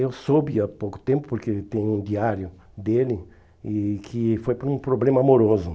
Eu soube há pouco tempo, porque tem um diário dele, e que foi para um problema amoroso.